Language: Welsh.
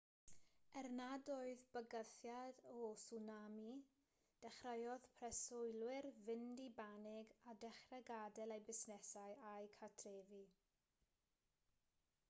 er nad oedd bygythiad o tswnami dechreuodd preswylwyr fynd i banig a dechrau gadael eu busnesau a'u cartrefi